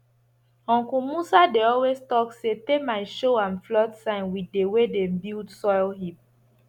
uncle musa dey always talk say termite show am flood sign with the way dem build soil heap